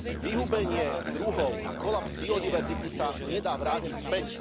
Vyhubenie druhov a kolaps biodiverzity sa nedá vrátiť späť.